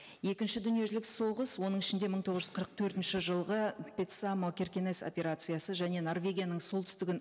екінші дүниежүзілік соғыс оның ішінде мың тоғыз жүз қырық төртінші жылғы петсамо киркенес операциясы және норвегияның солтүстігін